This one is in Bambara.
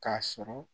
K'a sɔrɔ